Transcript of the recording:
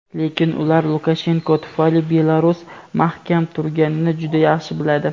lekin ular Lukashenko tufayli Belarus mahkam turganini juda yaxshi biladi.